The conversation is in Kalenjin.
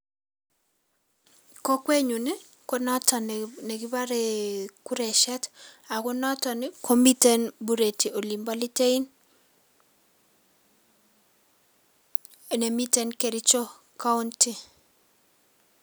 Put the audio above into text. Kokwenyun konoton nekibore kuresiet noton komiten Bureti olimbo litein Kericho county.